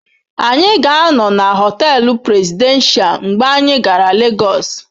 Anyị ga-anọ na họtel Presidential mgbe anyị gara Lagos.